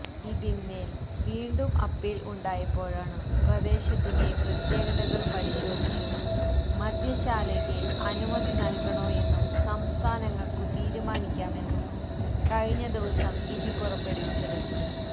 ഇതിന്മേൽ വീണ്ടും അപ്പീൽ ഉണ്ടായപ്പോഴാണു പ്രദേശത്തിന്റെ പ്രത്യേകതകൾ പരിശോധിച്ചു മദ്യശാലയ്ക്ക് അനുമതി നൽകണോയെന്നു സംസ്ഥാനങ്ങൾക്കു തീരുമാനിക്കാമെന്നു കഴിഞ്ഞദിവസം വിധി പുറപ്പെടുവിച്ചത്